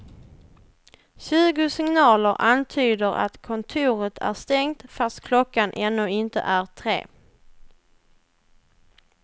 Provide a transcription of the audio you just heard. Tjugo signaler antyder att kontoret är stängt fast klockan ännu inte är tre.